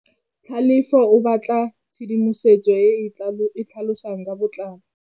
Tlhalefô o batla tshedimosetsô e e tlhalosang ka botlalô.